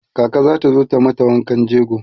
kaka zata zo ta mata wankan jego